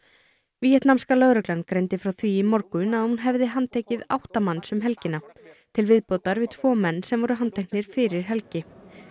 víetnamska lögreglan greindi frá því í morgun að hún hefði handtekið átta manns um helgina til viðbótar við tvo menn sem voru handteknir fyrir helgi